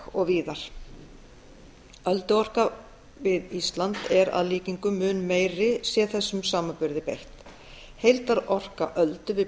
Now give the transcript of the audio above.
og víðar ölduorka við ísland er að líkindum mun meiri sé þessum samanburði beitt heildarorka öldu við